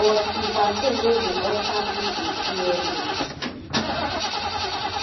but di vaccine no dey alter pipo dna